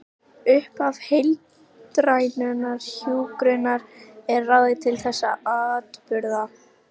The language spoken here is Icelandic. Dæmi um það eru siðfræðilegar kenningar allra þriggja.